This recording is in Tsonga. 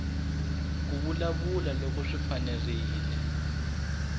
ku vulavula loko swi fanerile